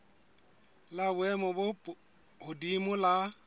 la boemo bo hodimo la